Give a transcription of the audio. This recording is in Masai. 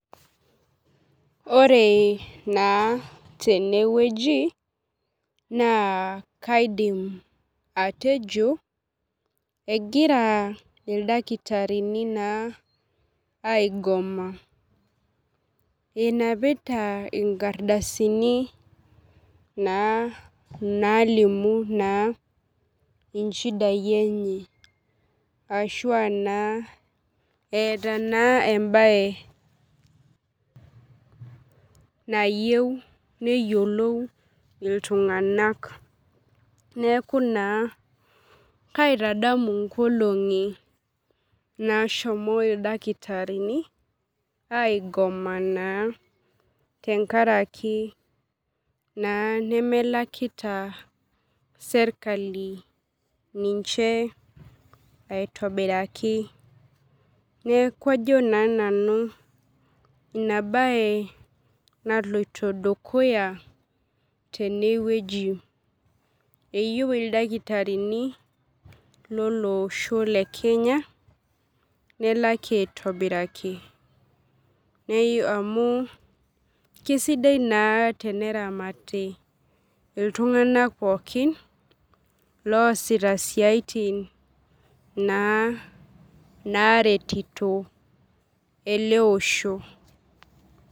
Ore na tenewueji na kaidim atejo egira ildakitari aigoma enapita nkardasini nalimu na inchidai enye ashuaa eeta naa embae nayeu neyiolou ltunganak kaitadamu nkolongi nashomoita idakitarini aigoma tenkaraki na nemelakita serkali ninche aitobiraki neaku ajo na nanu inabae naloito dukuya tenewueji eyieu ildakitarini lolosho le kenya nelaki aitobiraki amu kesidai na teneramati ltunganak pookin loasita siaitin naretito eleosho.